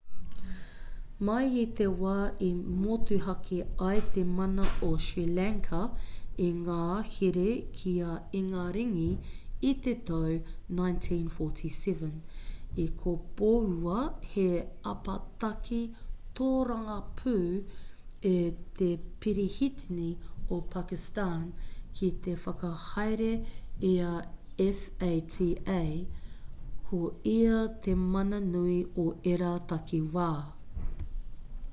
mai i te wā i motuhake ai te mana o sri lanka i ngā here ki a ingaringi i te tau 1947 i kopoua he apataki tōrangapū e te perehitini o pakistan ki te whakahaere i a fata ko ia te mana nui o ērā takiwā